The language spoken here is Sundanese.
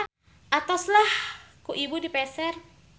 Atos lah ku ibu dipeser.